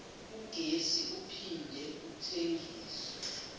ugesi uphinde uthengiswe